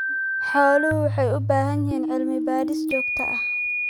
Xooluhu waxay u baahan yihiin cilmi-baadhis joogto ah.